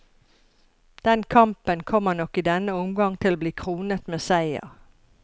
Den kampen kommer nok i denne omgang til å bli kronet med seier.